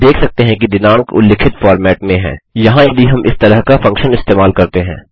हम देख सकते हैं कि दिनाँक उल्लिखित फ़ॉर्मेट में है यहाँ यदि हम इस तरह का फंक्शन इस्तेमाल करते हैं